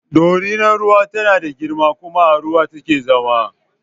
Dorinar ruwa tana da girma kuma a ruwa take zama